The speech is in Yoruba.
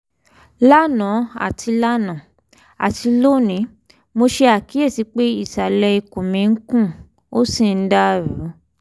lánàá àti lánàá àti lónìí mo ṣe àkíyèsí pé ìsàlẹ̀ ikùn mi ń kùn ó sì ń dàrú